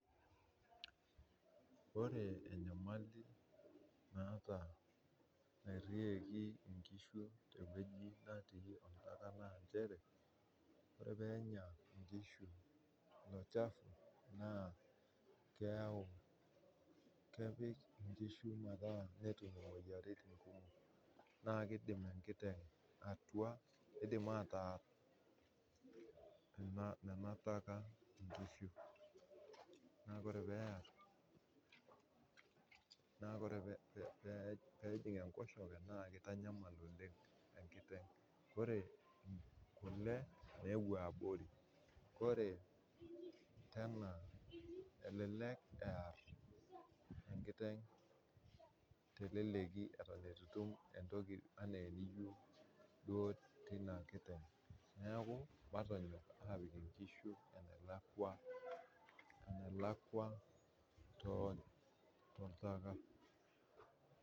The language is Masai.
Ore enyamali naata nairieki nkishu tewoi natii nanachere ore oenya nkishu olchafu na kepik nkishu metaa netum imoyiaritin kumok na kidim atua kidim ataar enataka, neaku ore pear netijinga enkosheke na kitanyamal oleng enkosheke na ore kule nepuo abori ore tenabelek ear enkiteng teleki atan itum entoki ana eniyieu tinakiteng neaku matanyok apik nkishu enalakwa toltaka.